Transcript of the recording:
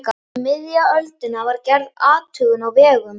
Um miðja öldina var gerð athugun á vegum